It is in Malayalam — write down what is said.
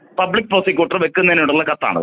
പബ്ലിക് പ്രോസിക്യൂട്ടർ ക്ക് വെക്കുന്നതിന്നഥിനുള്ള കത്താണിത്